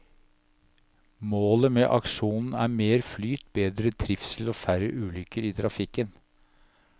Målet med aksjonen er mer flyt, bedre trivsel og færre ulykker i trafikken.